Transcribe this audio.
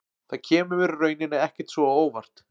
Það kemur mér í rauninni ekkert svo á óvart.